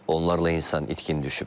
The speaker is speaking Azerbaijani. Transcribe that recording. Onlarla insan itkin düşüb.